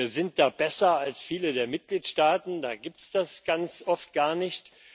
Wir sind da besser als viele der Mitgliedstaaten, da gibt es das ganz oft gar nicht.